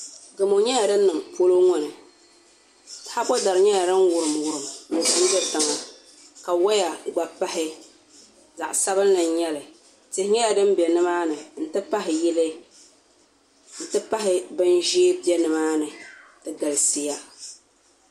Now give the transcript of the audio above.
Gamo nyɛla din niŋ polo ŋɔ ni taabo dari nyɛla din wurim wurim do tiŋa ka woya gba pahi zaɣ sabinli n nyɛli tihi nyɛla din bɛ nimaani n ti pahi yili n ti pahi bin ʒiɛ bɛ nimaani di galisiya